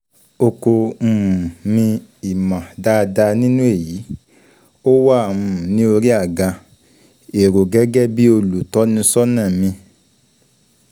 Oko um mi ìmọ̀ dáadáa nínú èyí, ó wà um ní orí àga um èrò gẹ́gẹ́ bí olùtọ́nisọ́nà mi.